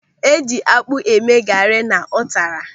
Eji akpụ eme gari na ụtara.